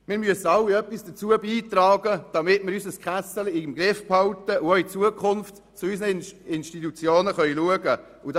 Wir alle müssen etwas dazu beitragen, das «Kässeli» im Griff zu behalten, um auch künftig zu unseren Institutionen schauen zu können.